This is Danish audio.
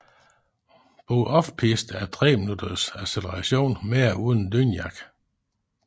BO OFF PISTE er tre minutters acceleration med og uden dynejakke